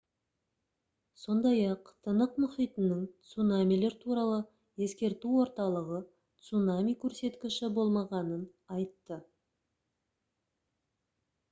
сондай-ақ тынық мұхитының цунамилер туралы ескерту орталығы цунами көрсеткіші болмағанын айтты